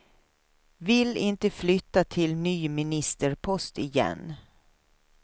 Vill inte flytta till ny ministerpost igen.